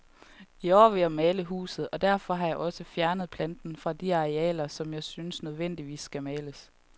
I år vil jeg male huset, og derfor har jeg også fjernet planten fra de arealer, som jeg synes nødvendigvis skal males.